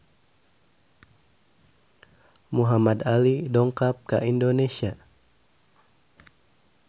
Muhamad Ali dongkap ka Indonesia